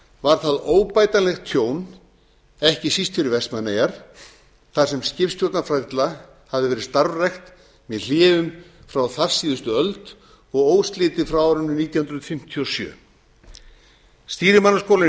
var það óbætanlegt tjón ekki síst fyrir vestmannaeyjar þar sem skipstjórnarfræðsla hafði verið starfrækt með hléum frá þarsíðustu öld og óslitið frá árinu nítján hundruð fimmtíu og sjö stýrimannaskólann í